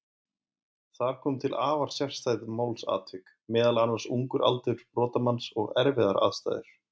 Þar komu til afar sérstæð málsatvik, meðal annars ungur aldur brotamanns og erfiðar aðstæður.